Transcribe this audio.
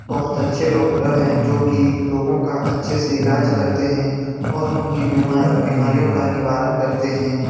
बहुत अच्छे डॉक्टर है जो की लोगों का अच्छे से इलाज करते हैं और उनकी बिमारियों का निवारण करते हैं ।